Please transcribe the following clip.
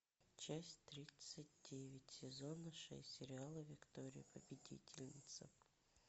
часть тридцать девять сезона шесть сериала виктория победительница